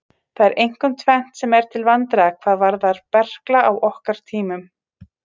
Það er einkum tvennt sem er til vandræða hvað varðar berkla á okkar tímum.